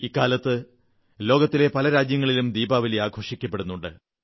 ഇക്കാലത്ത് ലോകത്തെ പല രാജ്യങ്ങളിലും ദീപാവലി ആഘോഷിക്കപ്പെടുന്നുണ്ട്